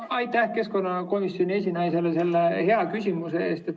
Aitäh keskkonnakomisjoni esinaisele selle hea küsimuse eest!